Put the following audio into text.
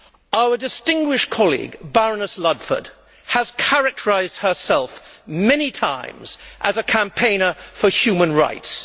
Our distinguished colleague, Baroness Ludford, has characterised herself many times as a campaigner for human rights.